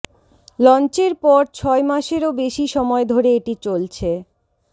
লঞ্চের পর ছয় মাসেরও বেশি সময় ধরে এটি চলছে